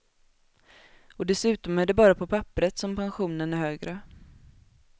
Och dessutom är det bara på papperet som pensionen är högre.